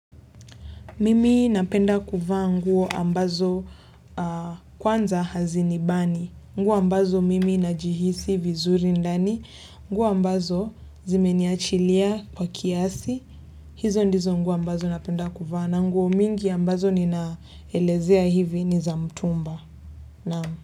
Mimi napenda kuvaa nguo ambazo kwanza hazinibani. Nguo ambazo mimi najihisi vizuri ndani. Nguo ambazo zimeniachilia kwa kiasi. Hizo ndizo nguo ambazo napenda kufa. Nguo mingi ambazo ninaelezea hivi ni za mtumba.